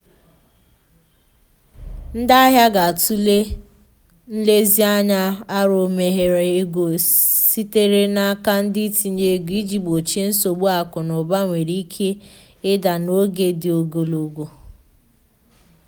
ndi ahia ga-atụle nlezianya aro mmegharị ego sitere n'aka ndị itinye ego iji gbochie nsogbu akụ na ụba nwere ike ịda n’oge dị ogologo